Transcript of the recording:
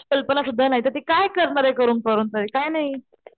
कल्पना सुद्धा नाही तर ती काय करणार करून करून तरी काही नाही.